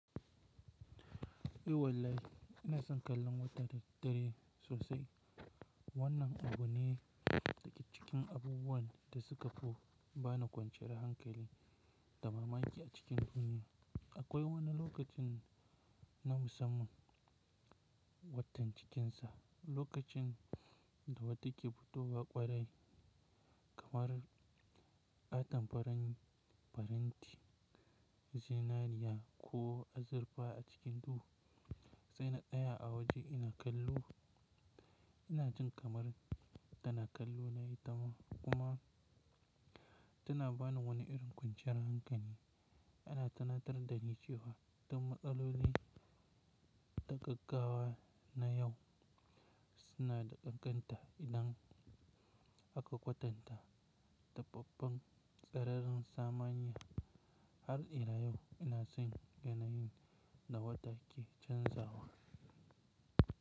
Eh wallahi, ina son kallon wata da dare sosai. Wannan abu ne daga cikin abubuwan da suka ko ba ni kwanciyar hankali da mamaki a cikin duniya. Akwai wani lokacin na musamman, Watan cikinsa, lokacin da wata ke fitowa kwarai kamar ƙaton farin faranti zinariya ko azurfa a cikin duhu. Sai na tsaya a waje ina kallo, ina jin kamar tana kallo na ita ma kuma tana bani wani irin kwanciyar hankali. Ana tunatar da ni cewa duk matsaloli da gaggawa na yau suna da ƙanƙanta idan aka kwatanta da babban sararin samaniya har ila yau ina son yanayin da wata ke canzawa.